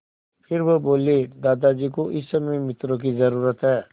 फिर वह बोले दादाजी को इस समय मित्रों की ज़रूरत है